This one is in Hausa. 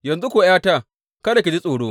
Yanzu kuwa ’yata kada ki ji tsoro.